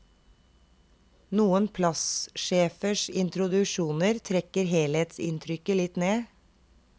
Noen plassjefers introduksjoner trekker helhetsinntrykket litt ned.